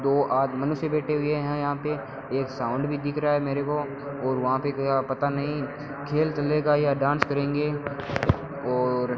दो आज मनुष्य बैठे हुए हैं यहां पे एक साउंड भी दिख रहा है मेरे को और वहां पे गया पता नहीं खेल चलेगा या डांस करेंगे और --